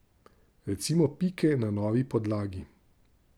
Recimo pike na novi podlagi.